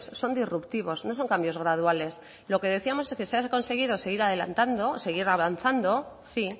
son disruptivos no son cambios graduales lo que decíamos es que se ha conseguido seguir adelantando seguir avanzando sí